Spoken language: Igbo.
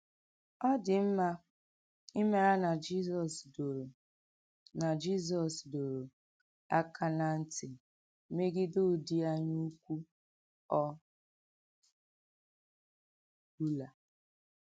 Ọ dị̀ mma ímàrà nà Jizọs dòrò nà Jizọs dòrò àkà n’à ntì mègìdè “ụ́dị̀ ànyáùkwù ọ̀ bùlà.”